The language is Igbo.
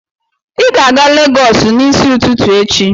Ị ga-aga Legọs n'isi ụtụtụ echi!